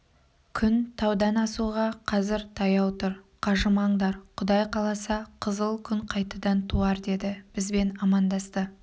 күн таудан асуға қазір таяу тұр қажымаңдар құдай қаласа қызыл күн қайтадан туар деді бізбен амандасты